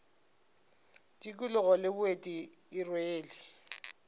tikologo le boeti e rwele